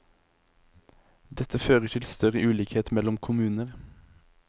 Dette fører til større ulikhet mellom kommuner.